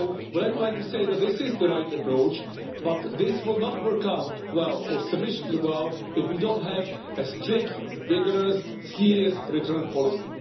I would like to say that this is the right approach, but it will not work out well or sufficiently well if we do not have a strict, vigorous, serious return policy.